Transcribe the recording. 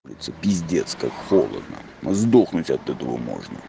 на улице пиздец как холодно сдохнуть от этого можно